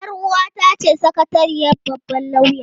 Yar uwata ce sakatariyar babban lauya.